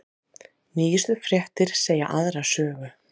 Nýjustu fréttir segja aðra sögu